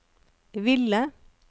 ville